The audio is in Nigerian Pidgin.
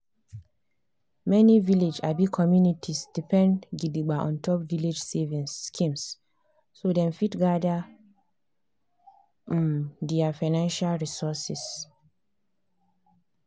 many village um communities depend gidigba ontop village savings schemes so dem fit gather um their financial resources.